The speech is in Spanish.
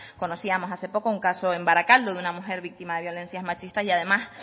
conocíamos hace poco un caso en barakaldo de una mujer víctima de violencia machista y además